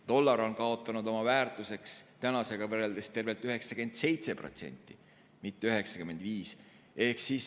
Dollar on kaotanud oma väärtusest tänasega võrreldes tervelt 97%, mitte 95%.